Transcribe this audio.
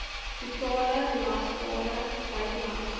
totale belasbare buitelandse